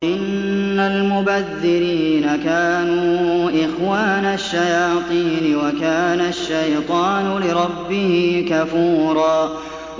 إِنَّ الْمُبَذِّرِينَ كَانُوا إِخْوَانَ الشَّيَاطِينِ ۖ وَكَانَ الشَّيْطَانُ لِرَبِّهِ كَفُورًا